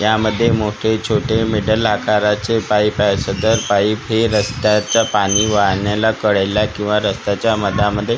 यामध्ये मोठे छोटे मिडल आकाराचे पाईप आहेत सदर पाईप हे रस्त्याच्या पाणी वाहण्याला कडेला किंवा रस्त्याच्या मधामध्ये क्रॉसिंग --